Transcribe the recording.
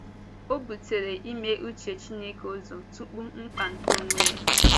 Ọ bùtèrè ime uche Chineke ụzọ tupu mkpa nke onwe ya.